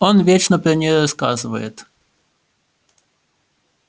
он вечно про неё рассказывает